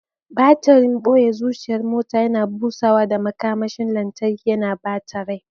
Batirin, boye zuciyar motar, yana busawa da makamashin lantarki, yana ba ta rai.